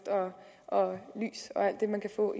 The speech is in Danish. og lys og alt det man kan få